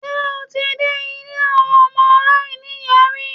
Ṣé o ti dé ilé àwọn ọmọ aláìní-ìyá rí?